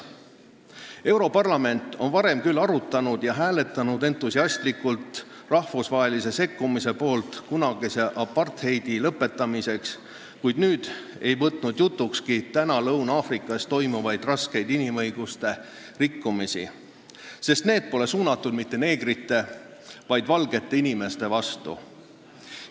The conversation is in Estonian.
Europarlament on varem küll arutanud ja hääletanud entusiastlikult rahvusvahelise sekkumise poolt kunagise apartheidi lõpetamiseks, kuid nüüd ei võtnud see kogu jutukski Lõuna-Aafrika Vabariigis toime pandavat rasket inimõiguste rikkumist, sest see pole suunatud mitte neegrite, vaid valgete inimeste vastu.